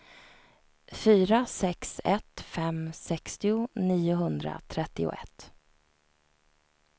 fyra sex ett fem sextio niohundratrettioett